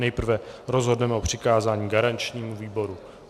Nejprve rozhodneme o přikázání garančnímu výboru.